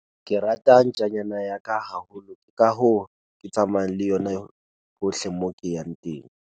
ke rata ntjanyana ya ka haholo ke ka hoo ke tsamayang le yona hohle moo ke yang teng